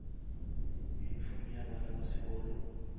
uniform ya bana ya sekolo